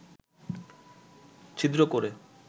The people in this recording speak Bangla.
ছিদ্র করে